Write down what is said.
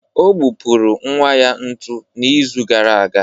Ọ gbupụrụ nwa ya ntu n'izu gara aga